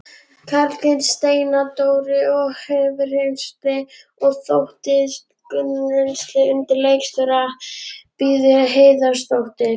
Karlssyni, Steindóri Hjörleifssyni og Þorsteini Gunnarssyni undir leikstjórn Bríetar Héðinsdóttur.